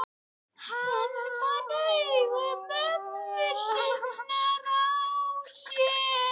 Hann fann augu mömmu sinnar á sér.